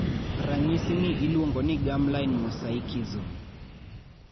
ranyisi ni iluongo ni germline mosaicism